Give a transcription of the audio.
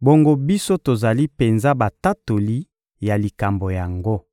bongo biso tozali penza batatoli ya likambo yango.